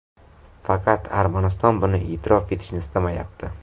Faqat Armaniston buni e’tirof etishni istamayapti.